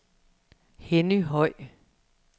Henny Høj